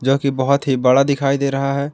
क्योंकि बहोत ही बड़ा दिखाई दे रहा है।